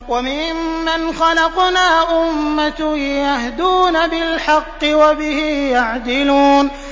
وَمِمَّنْ خَلَقْنَا أُمَّةٌ يَهْدُونَ بِالْحَقِّ وَبِهِ يَعْدِلُونَ